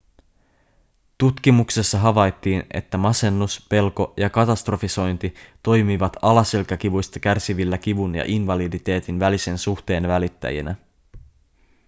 tutkimuksessa havaittiin että masennus pelko ja katastrofisointi toimivat alaselkäkivuista kärsivillä kivun ja invaliditeetin välisen suhteen välittäjinä